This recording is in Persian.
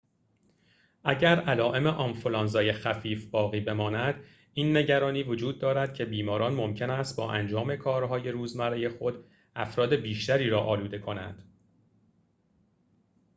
اگر علائم آنفلوانزا خفیف باقی بماند این نگرانی وجود دارد که بیماران ممکن است با انجام کارهای روزمره خود افراد بیشتری را آلوده کنند